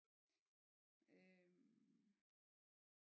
Øh